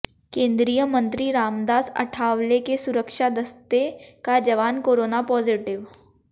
केंद्रीय मंत्री रामदास अठावले के सुरक्षा दस्ते का जवान कोरोना पॉजिटिव